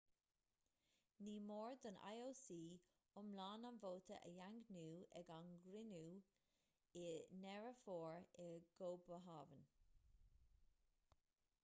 ní mór don ioc iomlán an vóta a dhaingniú ag a chruinniú i ndeireadh fómhair i gcóbanhávn